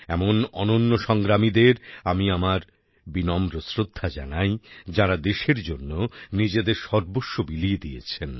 এমন অন্যান্য সংগ্রামীদের আমি আমার বিনম্র শ্রদ্ধা জানাই যাঁরা দেশের জন্য নিজেদের সর্বস্ব বিলিয়ে দিয়েছেন